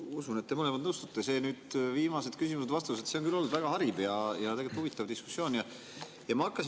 Ma usun, et te mõlemad nõustute, et viimased küsimused-vastused on olnud väga hariv ja huvitav diskussioon, ja ma hakkasingi mõtlema.